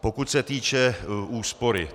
Pokud se týče úspory.